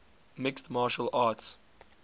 mixed martial arts